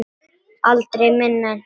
Aldrei minna en það.